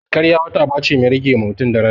Karya wata aba ce mai rage ma mutun daraja